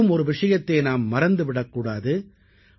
மேலும் ஒரு விஷயத்தை நாம் மறந்து விடக்கூடாது